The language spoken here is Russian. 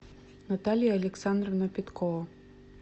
наталья александровна петкова